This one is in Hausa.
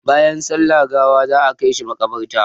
Bayan sallar gawa za a kai shi maƙabarta.